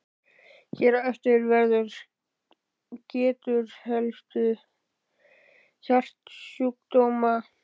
Hér á eftir verður getið helstu hjartasjúkdóma.